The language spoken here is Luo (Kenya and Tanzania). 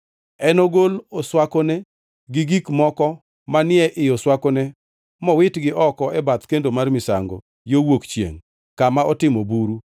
Enogol oswakone gi gik moko manie i oswakone mowitgi oko e bath kendo mar misango, yo wuok chiengʼ kama otimo buru.